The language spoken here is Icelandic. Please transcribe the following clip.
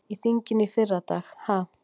Í þinginu í fyrradag ha?